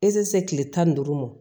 E tɛ se tile tan ni duuru mɔn